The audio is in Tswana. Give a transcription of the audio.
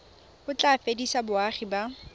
o tla fedisa boagi ba